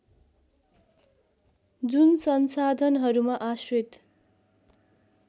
जुन संसाधनहरूमा आश्रित